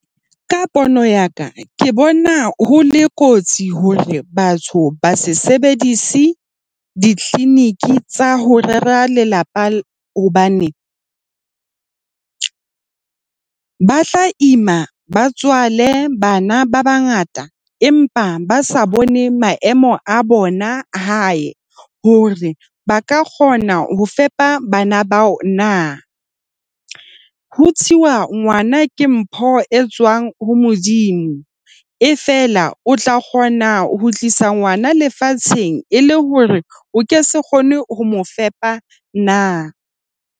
Ka pono ya ka ke bona ho le kotsi hore batho ba se sebedise di-clinic tsa ho rera lelapa, hobane ba tla ima, ba tswale bana ba bangata empa ba sa bone maemo a bona hae, hore ba ka kgona ho fepa bana bao na. Ho thusiwa ngwana ke mpho e tswang ho Modimo efela o tla kgona ho tlisa ngwana lefatsheng e le hore o ke se kgone ho mo fepa na?